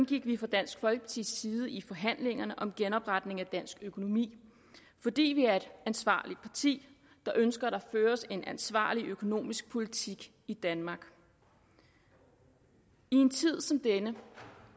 gik vi fra dansk folkepartis side ind i forhandlingerne om genopretning af dansk økonomi fordi vi er et ansvarligt parti der ønsker at der føres en ansvarlig økonomisk politik i danmark i en tid som denne